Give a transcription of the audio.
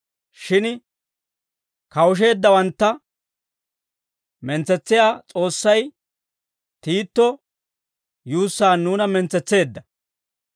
Shin kawusheeddawantta mentsetsiyaa S'oossay, Tiito yuussaan nuuna mentsetseedda.